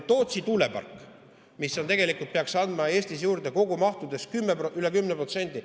Tootsi tuulepark peaks andma Eestis juurde kogumahus üle 10%.